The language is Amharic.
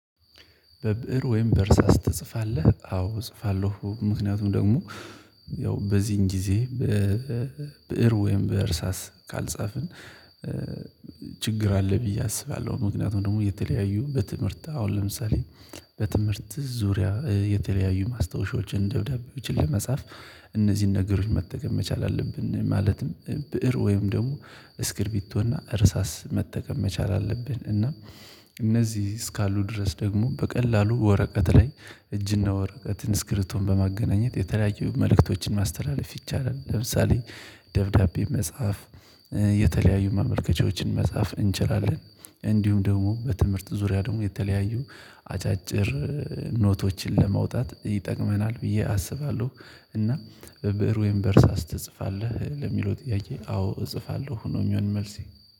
በብእር ወይም በእርሳስ ትጽፋለህ? አዎ እጽፋለሁ ምክንያቱም ደግሞ ያው በዚህን ጊዜ በብእር ወይም በእርሳስ ካልጻፍን ችግር አለ ብዬ አስባለሁ። ምክንያቱም ደግሞ የተለያዩ በትምህርት አሁን ለምሳሌ በትምህርት ዙሪያ የተለያዩ ማስታወሻዎችን ደብዳቤ ብችል ለመጻፍ እነዚህን ነገሮች መጠቀም መቻል አለብን። ማለትም ብእር ወይም ደግሞ እስክርቢቶና እርሳስ መጠቀም መቻል አለብን እና እነዚህ እስካሉ ድረስ ደግሞ በቀላሉ ወረቀት ላይ እጅና ወረቀት ኢንስክሪቶን በማገናኘት የተለያዩ መልእክቶችን ማስተላለፍ ይቻላል። ለምሳሌ ደብዳቤ መጻፍ የተለያዩ ማመልከቻዎችን መጻፍ እንችላለን። እንዲሁም ደግሞ በትምህርት ዙሪያ ደግሞ የተለያዩ አጫጭር ኖቶችን ለማውጣት ይጠቅመናል ብዬ አስባለሁ። እና በብእር ወይም በእርሳስ ትጽፋለህ ለሚለው ጥያቄ አዎ እጽፋለሁ ነው የሚሆን መልሴ